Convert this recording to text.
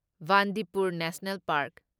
Bandipur national park